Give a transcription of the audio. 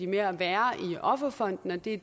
med at være i offerfonden det er